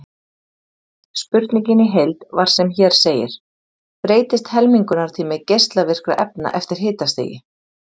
Spurningin í heild var sem hér segir: Breytist helmingunartími geislavirkra efna eftir hitastigi?